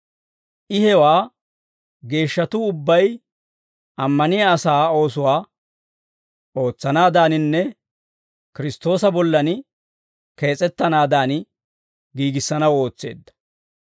I hewaa geeshshatuu ubbay ammaniyaa asaa oosuwaa ootsanaadaninne Kiristtoosa bollan kees'ettanaadan giigissanaw ootseedda.